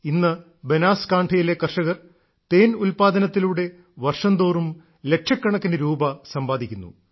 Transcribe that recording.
ഇന്ന് ബനാസ്കാൺഠയിലെ കർഷകർ തേൻ ഉല്പാദനത്തിലൂടെ വർഷംതോറും ലക്ഷക്കണക്കിനു രൂപ സമ്പാദിക്കുന്നു